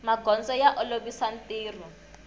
magondzo ya olovisa ntirho